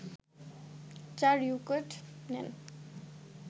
৪ wicket নেন